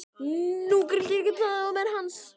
Nú grillti í Daða og menn hans.